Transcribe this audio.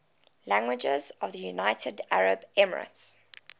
languages of the united arab emirates